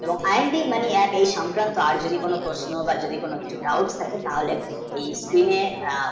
তো IMDMoney, app সম্পর্কে বা আর যদি কোনও প্রশ্ন বা যদি কোনো থাকে doubt থাকে তাহলে